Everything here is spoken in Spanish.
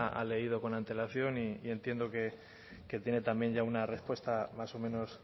ha leído con antelación y entiendo que tiene también ya una respuesta más o menos